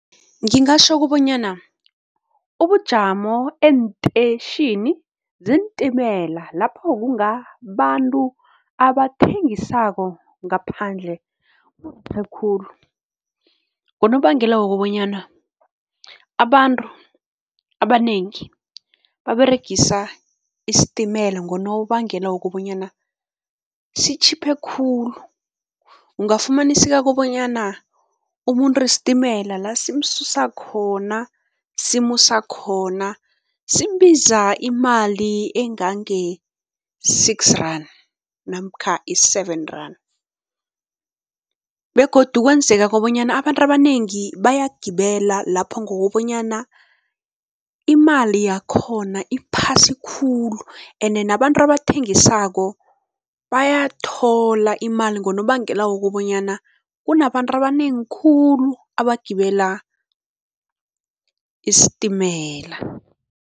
Ngingatjho kubonyana ubujamo eenteyitjhini zeentimela lapho kungabantu abathengisako ngaphandle khulu ngonobangela wokobanyana abantu abanengi baberegisa isitimela ngonobangela wokobanyana sitjhiphe khulu. UIngafumaniseka kobonyana umuntu isitimela la simsusa khona, simusa khona, simbiza imali engange-six rand namkha i-seven rand begodu kwenzeka kobanyana abantu abanengi bayagibela lapho ngokobanyana imali yakhona iphasi khulu ene nabantu abathengisako bayathola imali ngonobangela wokobanyana kunabantu abanengi khulu abagibela isitimela.